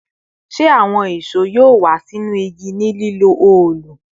Ṣe awọn ìṣó yoo wa sinu igi ni lilo òòlù?